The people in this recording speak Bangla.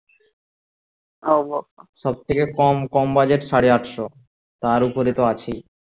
সব থেকে কম কম budget সাড়ে আটশো তার ওপরে তো আছেই